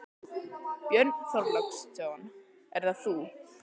Björn Þorláksson: Er það þú?